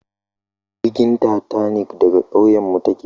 Jirgin tatanik daga kauyenmu take